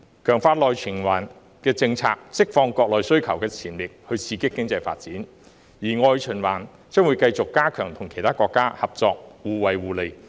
強化內循環的政策，可釋放國內需求的潛力，刺激經濟發展，而外循環將有利於繼續加強與其他國家合作，互惠互利。